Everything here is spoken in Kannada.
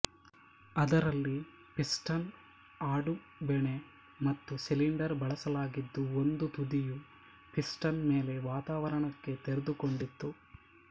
ಅದರಲ್ಲಿ ಪಿಸ್ಟನ್ಆಡುಬೆಣೆ ಮತ್ತು ಸಿಲಿಂಡರ್ ಬಳಸಲಾಗಿದ್ದುಒಂದು ತುದಿಯು ಪಿಸ್ಟನ್ ಮೇಲೆ ವಾತಾವರಣಕ್ಕೆ ತೆರೆದುಕೊಂಡಿತ್ತು